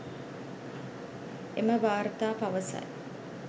එම වාර්තා පවසයි